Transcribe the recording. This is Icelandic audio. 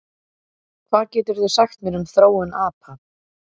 Hvað geturðu sagt mér um þróun apa?